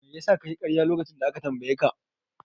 Mai yasa kayi karya lokacin da aka tambaye ka?